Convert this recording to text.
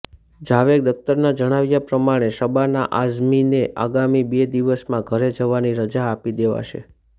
જાવેદ અખ્તરના જણાવ્યા પ્રમાણે શબાના આઝમીને આગામી બે દિવસમાં ઘરે જવાની રજા આપી દેવાશે